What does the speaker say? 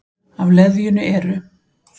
Af leðjunni eru